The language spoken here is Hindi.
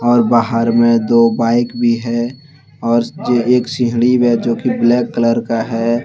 और बाहर में दो बाइक भी है और जे एक सीहढ़ी में जो कि ब्लैक कलर का है।